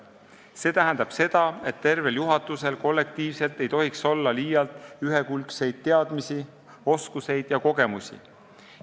See tähendab seda, et tervel juhatusel kollektiivselt ei tohiks olla liialt ühekülgseid teadmisi, oskusi ega kogemusi.